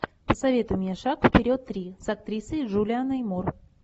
посоветуй мне шаг вперед три с актрисой джулианной мур